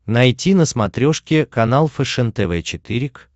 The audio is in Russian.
найти на смотрешке канал фэшен тв четыре к